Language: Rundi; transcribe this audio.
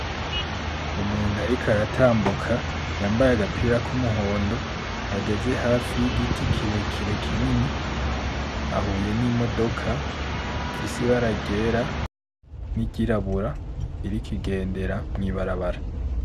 Umuntu ariko aratambuka yambaye agapira kumuhondo, ageze hafi y'igiti kirekire kinini, ahuye n'imodoka ifise ibara ryera, n'iryirabura, iriko igendera mw'ibarabara.